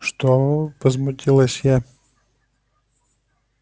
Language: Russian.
что возмутилась я